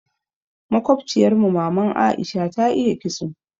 Makobciyar mu maman Aisha ta iya ƙitso.